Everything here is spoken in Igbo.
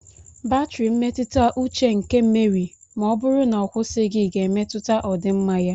Batrị mmetụta uche nke Meri ma ọ bụrụ na ọ kwụsịghị ga-emetụta ọdịmma ya.